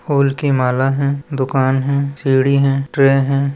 फूल की माला है दुकान है सीढ़ी है ट्रे हैं।